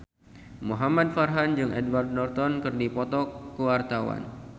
Muhamad Farhan jeung Edward Norton keur dipoto ku wartawan